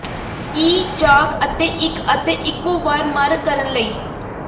ਈ ਜਾਗ ਅਤੇ ਇੱਕ ਅਤੇ ਇੱਕੋ ਵਾਰ ਮਰ ਕਰਨ ਲਈ